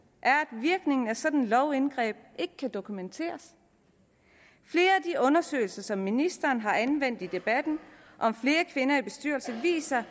er at virkningen af sådan et lovindgreb ikke kan dokumenteres flere af de undersøgelser som ministeren har anvendt i debatten om flere kvinder i bestyrelser viser at